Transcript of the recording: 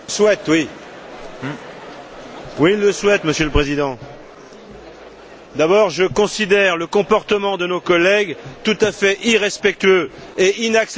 Monsieur le Président, je considère le comportement de nos collègues tout à fait irrespectueux et inacceptable dans un Parlement comme le nôtre.